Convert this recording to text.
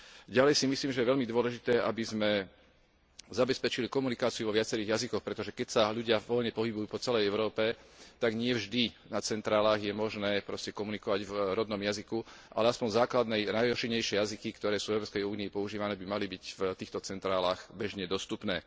Ďalej si myslím, že je veľmi dôležité, aby sme zabezpečili komunikáciu vo viacerých jazykoch, pretože keď sa ľudia voľne pohybujú po celej Európe, tak nie vždy na centrálach je možné proste komunikovať v rodnom jazyku, ale aspoň základné a najrozšírenejšie jazyky, ktoré sú v Európskej únii používané, by mali byť v týchto centrálach bežne dostupné.